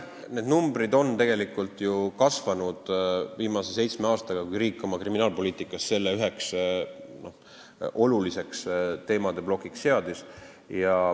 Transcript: Need numbrid on tegelikult viimase seitsme aasta jooksul kasvanud, kui riik on oma kriminaalpoliitikas selle üheks oluliseks teemaplokiks seadnud.